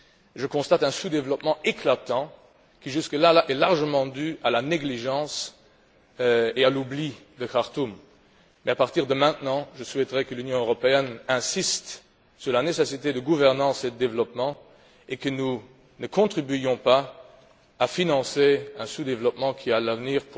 Je constate un sous développement éclatant qui, jusque là, est largement dû à la négligence et à l'oubli de Khartoum. Mais à partir de maintenant, je souhaiterais que l'Union européenne insiste sur la nécessité de gouvernance et de développement et je voudrais que nous ne contribuions pas à financer un sous développement qui, à l'avenir,